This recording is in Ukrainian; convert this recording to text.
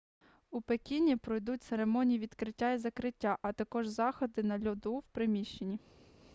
у пекіні пройдуть церемонії відкриття і закриття а також заходи на льоду в приміщенні